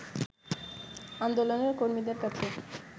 আন্দোলনের কর্মীদের কাছে